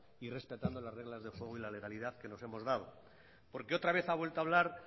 y respetando las reglas del juego y la legalidad que les hemos dado porque otra vez ha vuelto hablar